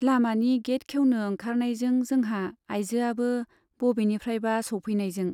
लामानि गेइट खेउनो ओंखारनायजों जोंहा आइजोआबो बबेनिफ्राइबा सौफैनायजों।